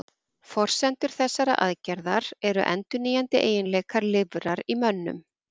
Forsendur þessarar aðgerðar eru endurnýjandi eiginleikar lifrar í mönnum.